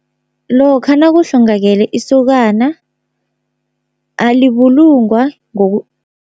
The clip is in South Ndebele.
Lokha nakuhlongakele isokana alibulungwa